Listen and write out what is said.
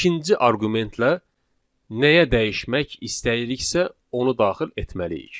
ikinci arqumentlə nəyə dəyişmək istəyiriksə, onu daxil etməliyik.